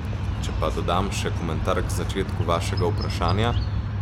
Če pa dodam še komentar k začetku vašega vprašanja ...